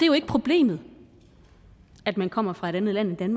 jo ikke problemet at man kommer fra et andet land end